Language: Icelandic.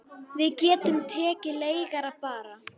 Við getum tekið leigara bara.